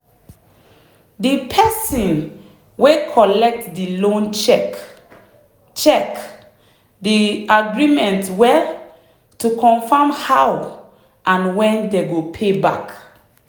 the person wey collect the loan check check the agreement well to confirm how and when dem go pay back.